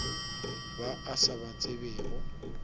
ba a sa ba tsebego